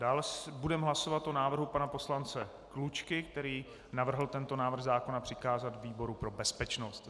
Dále budeme hlasovat o návrhu pana poslance Klučky, který navrhl tento návrh zákona přikázat výboru pro bezpečnost.